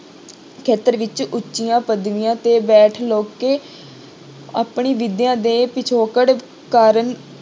ਖੇਤਰ ਵਿੱਚ ਉੱਚੀਆਂ ਪਦਵੀਆਂ ਤੇ ਬੈਠ ਲੋਕੀ ਆਪਣੀ ਵਿਦਿਆ ਦੇ ਪਿੱਛੋਕੜ ਕਾਰਨ